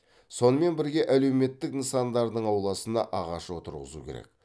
сонымен бірге әлеуметтік нысандардың ауласына ағаш отырғызу керек